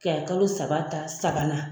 kɛ kalo saba ta sabanan.